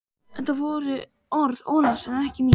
Þetta voru orð Ólafs en ekki mín.